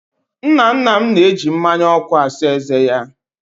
Nna nna m na-eji mmánya ọkụ asa ezé ya.